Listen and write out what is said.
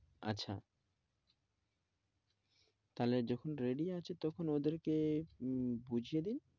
আচ্ছা তাহলে যখন ready আছো তখন ওদেরকে উম বুঝিয়ে দিন,